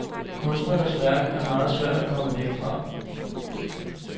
Kunstnerens værk er meget svært at komme væk fra.